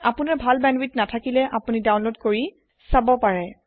আপুনাৰ ভাল বেন্দৱিথ নাথাকিলে আপুনি ডাউনলোড কৰি ছাব পাৰে